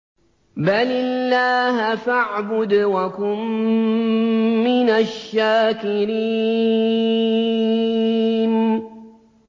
بَلِ اللَّهَ فَاعْبُدْ وَكُن مِّنَ الشَّاكِرِينَ